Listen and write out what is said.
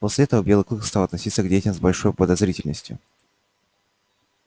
после этого белый клык стал относиться к детям с большой подозрительностью